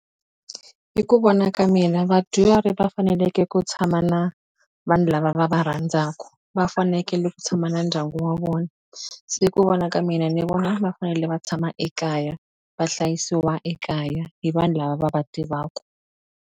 Hi ku vona ka mina vadyuhari va fanekele ku tshama na vanhu lava va va rhandzaka, va fanekele ku tshama na ndyangu wa vona. Se hi ku vona ka mina ni vona va fanele va tshama ekaya, va hlayisiwa ekaya hi vanhu lava va va tivaka.